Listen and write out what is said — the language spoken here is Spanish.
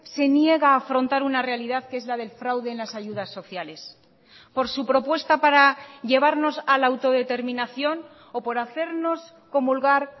se niega a afrontar una realidad que es la del fraude en las ayudas sociales por su propuesta para llevarnos a la autodeterminación o por hacernos comulgar